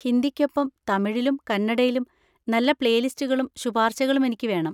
ഹിന്ദിയ്‌ക്കൊപ്പം തമിഴിലും കന്നഡയിലും നല്ല പ്ലേലിസ്റ്റുകളും ശുപാർശകളും എനിക്ക് വേണം.